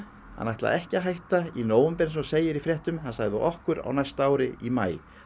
hann ætlaði ekki að hætta í nóvember eins og segir í fréttum hann sagði við okkur á næsta ári í maí